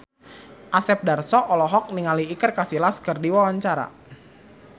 Asep Darso olohok ningali Iker Casillas keur diwawancara